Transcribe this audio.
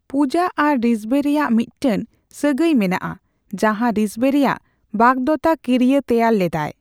ᱯᱩᱡᱟᱹ ᱟᱨ ᱨᱤᱥᱵᱷᱮ ᱨᱮᱭᱟᱜ ᱢᱤᱫᱴᱟᱝ ᱥᱟᱹᱜᱟᱭ ᱢᱮᱱᱟᱜᱼᱟ, ᱡᱟᱦᱟᱸ ᱨᱤᱥᱵᱷᱮ ᱨᱮᱭᱟᱜ ᱵᱟᱜᱫᱚᱛᱟ ᱠᱤᱭᱟᱹ ᱛᱮᱭᱟᱨ ᱞᱮᱫᱟᱭ ᱾